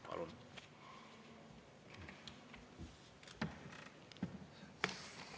Palun!